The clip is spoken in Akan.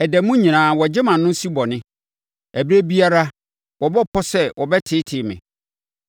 Ɛda mu nyinaa wɔgye mʼano si bɔne; ɛberɛ biara wɔbɔ pɔ sɛ wɔbɛteetee me.